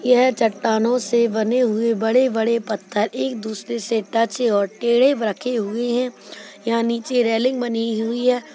यह चट्टानों से बने हुए बड़े बड़े पत्थर एक दूसरे से टच और टेढ़े रखे हुए है यहाँ नीचे रेलिंग बनी हुई है।